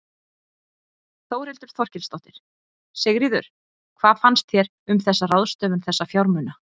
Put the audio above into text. Þórhildur Þorkelsdóttir: Sigríður, hvað finnst þér um þessa ráðstöfun þessa fjármuna?